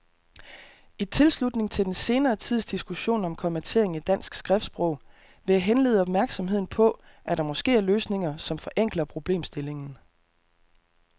I tilslutning til den senere tids diskussion om kommatering i dansk skriftsprog vil jeg henlede opmærksomheden på, at der måske er løsninger, som forenkler problemstillingen.